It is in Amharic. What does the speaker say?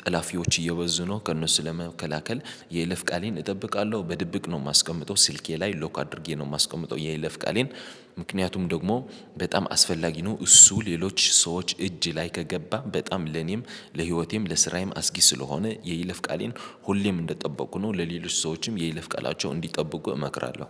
ጠላፊዎች እየበዙ ነው። ከእነሱ ለመከላከል የይለፍ ቃሌን እጠብቃለሁ በድብቅ ነው የማስቀምጠው ስልኬ ላይ ሎክ አድርጌ ነው የማስቀምጠው። የይለፍ ቃሌን ምክንያቱም ደግሞ በጣም አስፈላጊ ነው እሱ ሌሎች ሰዎች እጅ ላይ ከገባ በጣም ለኔም ለህይወቴም ለስራዬም አስጊ ስለሆነ የይለፍ ቃሌን ሁሌም እንደጠበኩ ነው። ለሌሎች ሰዎችም የይልፍ ቃላቸው እንዲጠብቁ እመክራለሁ